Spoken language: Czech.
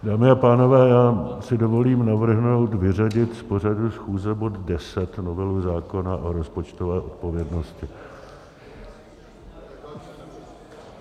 Dámy a pánové, já si dovolím navrhnout vyřadit z pořadu schůze bod 10 - novelu zákona o rozpočtové odpovědnosti.